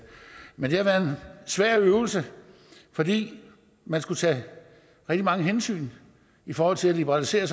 men det har været svær øvelse fordi man skulle tage rigtig mange hensyn i forhold til at liberalisere